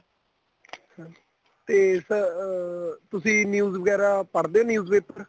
ਤੇ sir ਅਹ ਤੁਸੀਂ news ਵਗੈਰਾ ਪੜ੍ਹਦੇ news paper